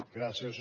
gràcies